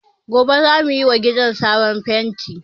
Gobe za mu yi wa gidan sabon fenti